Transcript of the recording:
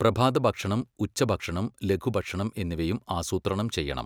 പ്രഭാതഭക്ഷണം, ഉച്ചഭക്ഷണം, ലഘുഭക്ഷണം എന്നിവയും ആസൂത്രണം ചെയ്യണം.